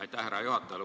Aitäh, härra juhataja!